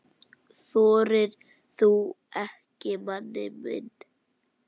Þorir þú ekki, manni minn?